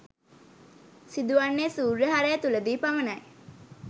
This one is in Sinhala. සිදු වන්නේ සූර්ය හරය තුලදී පමණයි.